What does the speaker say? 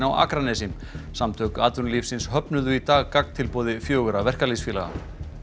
á Akranesi samtök atvinnulífsins höfnuðu í dag gagntilboði fjögurra verkalýðsfélaga